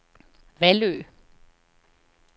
Vallø